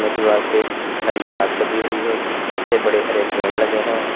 दीवार के हरी घास लगी हुई है पीछे बड़े हरे पेड़ लगे हैं।